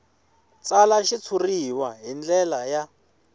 tsala xitshuriwa hi ndlela ya